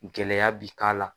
Gɛlɛya bi k'a la